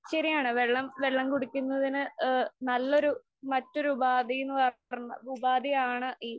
ശരിയാണ് വെള്ളം വെള്ളം കുടിക്കുന്നതിന് ആ നല്ലൊരു മറ്റൊരു ഉപാധി എന്ന് പറഞ്ഞാ ഉപാധിയാണ് ഈ